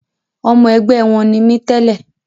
Ọmọ ẹgbẹ́ wọn ni mí tẹ́lẹ̀